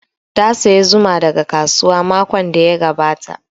Ta saya zuma daga kasuwa makon da ya gabata